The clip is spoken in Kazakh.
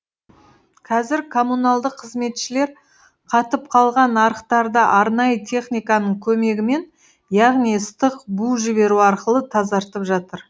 қазір коммуналдық қызметшілер қатып қалған арықтарды арнайы техниканың көмегімен яғни ыстық бу жіберу арқылы тазартып жатыр